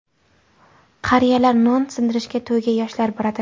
Qariyalar non sindirishga, to‘yga yoshlar boradi.